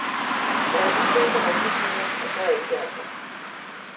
Der er de fødte racerkørere, og så alle de andre.